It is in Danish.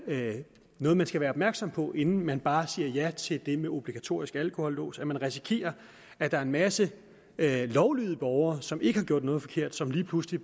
noget man skal være opmærksom på inden man bare siger ja til det med obligatorisk alkolås man risikerer at der er en masse lovlydige borgere som ikke har gjort noget forkert som lige pludselig